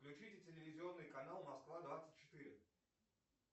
включите телевизионный канал москва двадцать четыре